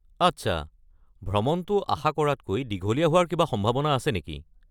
আচ্ছা, ভ্ৰমণটো আশা কৰাতকৈ দীঘলীয়া হোৱাৰ কিবা সম্ভাৱনা আছে নেকি?